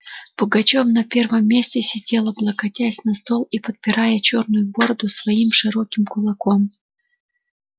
пугачёв на первом месте сидел облокотясь на стол и подпирая чёрную бороду своим широким кулаком